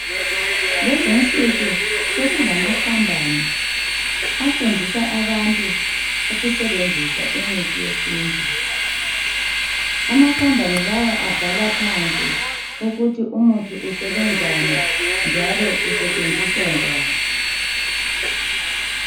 Lezinsuku sekulamakhambani afundisa abantu ukusebenzisa imithi yesiNtu. Amakhambani lawa abhala phansi ukuthi umuthi usebenzani njalo usetshenziswa njani.